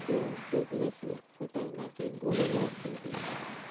সেটাই নাকি গোলে যাচ্ছে গিয়ে.